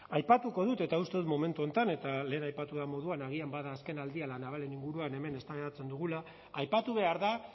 aipatuko dut eta uste dut momentu honetan eta lehen aipatu den moduan agian bada azkenaldian la navalen inguruan hemen eztabaidatzen dugula aipatu behar da